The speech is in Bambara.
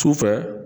Sufɛ